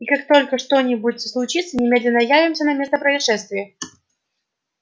и как только что-нибудь случится немедленно явимся на место происшествия